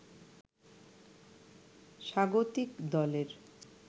স্বাগতিক দলের